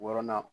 Wɔɔrɔnan